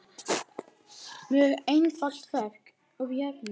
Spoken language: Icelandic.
Mjög einfalt verk úr járni.